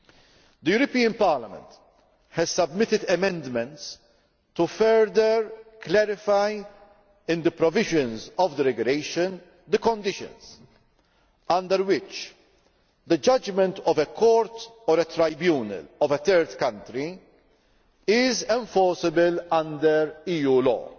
The European Parliament has submitted amendments to further clarify in the provisions of the regulation the conditions under which the judgment of a court or a tribunal of a third country is enforceable under EU law.